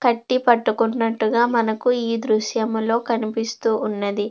కట్టి పట్టుకున్నట్టుగా మనకి ఈ దృశ్యంలో కనిపిస్తూ ఉన్నది.